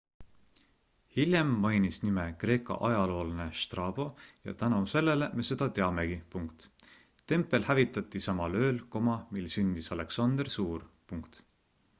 hiljem mainis nime kreeka ajaloolane strabo ja tänu sellele me seda teamegi tempel hävitati samal ööl mil sündis aleksander suur